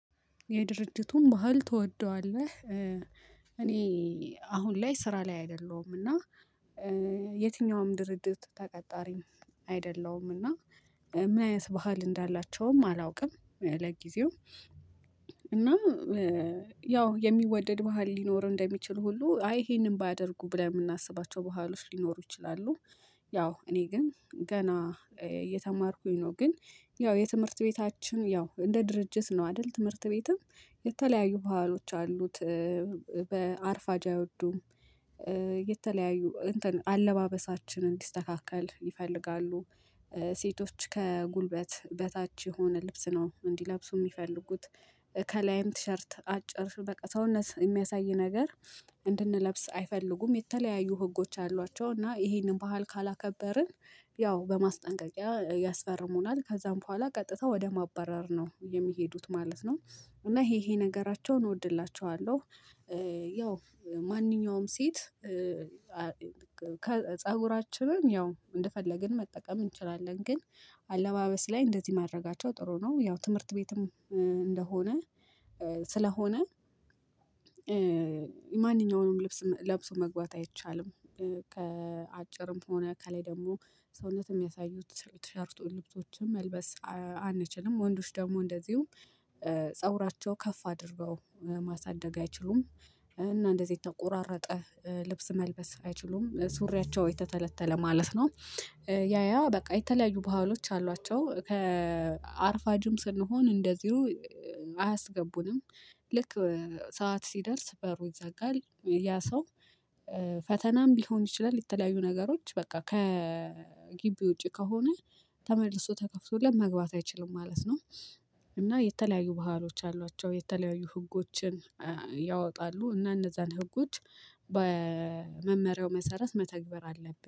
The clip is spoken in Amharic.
የድርጅቱን ባህል ትወደዋለህ? እኔ አሁን ላይ ስራ ላይ አይደለሁም። እና የትኛውም ድርጅት ተቀጣሪም አይደለዉም። እና ምን አይነት ባህል እንዳላቸውም አላውቅም ለጊዜው። እና ያው የሚወደድ ባህል ሊኖር እንደሚችል ሁሉ አይ ይሄንን ባያደርጉ ብለን የምናስባቸው በኋላዎች ሊኖሩ ይችላሉ። ያው እኔ ግን ገና እየተማርኩኝ ነው። ግን ያው የትምህርት ቤታችን ያው እንደ ድርጅት ነው አይደል ትምህርት ቤትም የተለያዩ በሀሎች አሉት። በአርፋጅ አይወዱም። የተለያዩ አለባበሳችን እንዲስተካከል ይፈልጋሉ። ሴቶች ከጉልበት በታች የሆነ ልብስ ነው እንዲለብሱ የሚፈልጉት። ከላይም ቲሸርት አጭር ስር በቃ ሰውነት የሚያሳይ ነገር። እንድንለብስ አይፈልጉም የተለያዩ ህጎች አሏቸው እና ይሄንን ባህል ካላከበርን ያው በማስጠንቀቂያ ያስፈርሙናል ከዛም በኋላ ቀጥታ ወደ ማበረር ነው የሚሄዱት ማለት ነው። እና ይሄ ይሄ ነገራቸውን እወድላቸዋለሁ። ያው ማንኛውም ሴት ፀጉራችንን ያው እንደፈለግን መጠቀም እንችላለን ግን አለባበስ ላይ እንደዚህ ማድረጋቸው ጥሩ ነው። ያው ትምህርት ቤትም እንደሆነ ስለሆነ ማንኛውንም ልብስ ለብሶ መግባት አይቻልም። ከአጭርም ሆነ ከላይ ደግሞ ሰውነት የሚያሳዩት ቲሸርት ልብሶችም መልበስ አንችልም። ወንዶች ደግሞ እንደዚሁም ፀጉራቸው ከፍ አድርገው ማሳደግ አይችሉም። እና እንደዚህ የተቆራረጠ ልብስ መልበስ አይችሉም ሱሪያቸው የተተለተለ ማለት ነው። ያያ በቃ የተለያዩ ባህሎች አሏቸው ከአርፋጅም ስንሆን እንደዚሁ አያስገቡንም። ልክ ሰዓት ሲደርስ በሩ ይዘጋል። ያ ሰው ፈተናም ቢሆን ይችላል የተለያዩ ነገሮች በቃ ከግቢ ውጪ ከሆነ ተመልሶ ተከፍቶ መግባት አይችልም ማለት ነው። እና የተለያዩ ባህሎች አሏቸው የተለያዩ ህጎችን ያወጣሉ እና እነዛን ህጎች በመመሪያው መሰረት መተግበር አለብን